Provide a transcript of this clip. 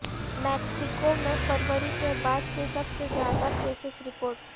Mexico میں فروری کے بعد سے سب سے زیادہ کیسز رپورٹ